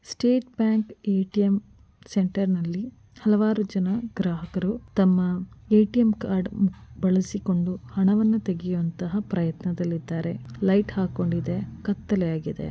State bank ATM. ಸೆಂಟರ್‌ನಲ್ಲಿ ಹಲವಾರು ಜನ ಗ್ರಾಹಕರು ತಮ್ಮ ಎ.ಟಿ.ಎಂ. ಕಾರ್ಡ್‌ ಬಳಸಿಕೊಂಡು ಹಣವನ್ನು ತೆಗೆಯುವಂತಹ ಪ್ರಯತ್ನದಲ್ಲಿದ್ದಾರೆ ಲೈಟ್‌ ಹಾಕಿಕೊಂಡಿದೆ ಕತ್ತಲಾಗಿದೆ.